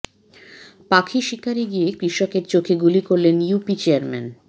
পাখি শিকারে গিয়ে কৃষকের চোখে গুলি করলেন ইউপি চেয়্যারম্যান